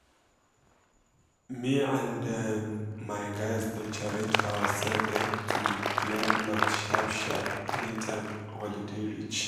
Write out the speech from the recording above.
me and um my guys dey challenge ourself um to um clear plot sharp-sharp anytime holiday reach